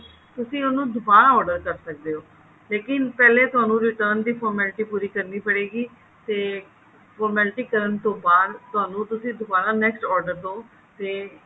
ਤੁਸੀਂ ਉਹਨੂੰ ਦੁਬਾਰਾ order ਕਰ ਸਕਦੇ ਹੋ ਲੇਕਿਨ ਤੁਹਾਨੂੰ ਪਹਿਲੇ return ਦੀ formality ਪੂਰੀ ਕਰਨੀ ਪਏਗੀ ਤੇ formality ਕਰਨ ਤੋਂ ਬਾਅਦ ਤੁਹਾਨੂੰ ਤੁਸੀਂ ਦੁਬਾਰਾ next order ਦੋ ਤੇ